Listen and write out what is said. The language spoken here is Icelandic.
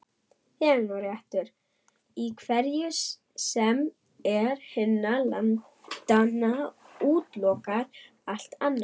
Þegnréttur í hverju sem er hinna landanna útilokar allt annað.